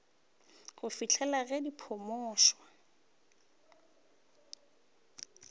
go fihlela ge di phumotšwe